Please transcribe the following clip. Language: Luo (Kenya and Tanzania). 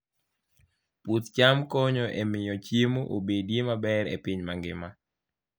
Puoth cham konyo e miyo chiemo obedie maber e piny mangima.